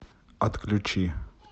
отключи